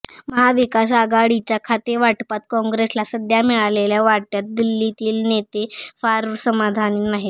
महाविकास आघाडीच्या खातेवाटपात काँग्रेसला सध्या मिळालेल्या वाट्यात दिल्लीतील नेते फार समाधानी नाहीत